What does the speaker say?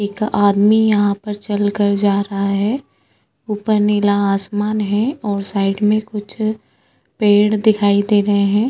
एक आदमी यहाँ पर चल के जा रहा है ऊपर नीला आसमान है और साइड मे कुछ पेड़ दिखाई दे रहे है।